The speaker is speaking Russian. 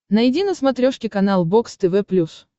найди на смотрешке канал бокс тв плюс